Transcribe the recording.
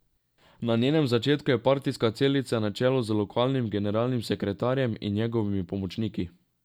Na njenem začetku je partijska celica na čelu z lokalnim generalnim sekretarjem in njegovimi pomočniki.